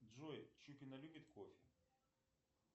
джой чупина любит кофе